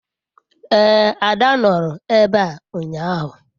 ee, ada noro ebe a unyahu